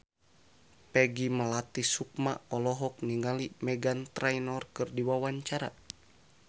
Peggy Melati Sukma olohok ningali Meghan Trainor keur diwawancara